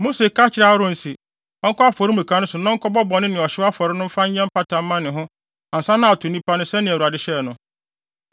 Mose ka kyerɛɛ Aaron se ɔnkɔ afɔremuka no so na ɔnkɔbɔ bɔne ne ɔhyew afɔre no mfa nyɛ mpata mma ne ho ansa na ato nnipa no sɛnea Awurade hyɛe no.